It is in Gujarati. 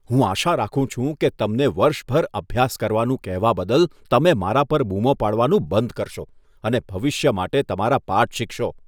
હું આશા રાખું છું કે તમને વર્ષભર અભ્યાસ કરવાનું કહેવા બદલ તમે મારા પર બૂમો પાડવાનું બંધ કરશો અને ભવિષ્ય માટે તમારા પાઠ શીખશો.